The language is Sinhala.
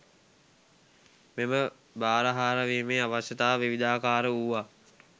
මෙම බාරහාර වීමේ අවශ්‍යතා විවිධාකාර වූවා